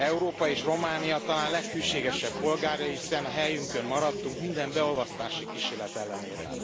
Európa és Románia talán leghűségesebb polgárai, hiszen a helyünkön maradtunk minden beolvasztási kísérlet ellenére.